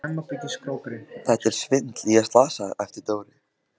Þetta er svindl, ég er slasaður! æpti Dóri.